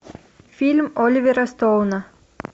фильм оливера стоуна